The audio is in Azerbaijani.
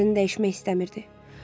Əmrini dəyişmək istəmirdi.